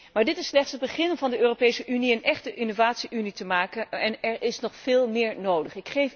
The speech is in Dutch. Maar dit is slechts het begin om van de Europese Unie een echte innovatie unie te maken en er is nog veel meer nodig.